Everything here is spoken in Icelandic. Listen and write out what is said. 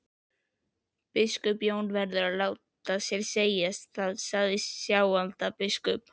Biskup Jón verður að láta sér segjast, sagði Sjálandsbiskup.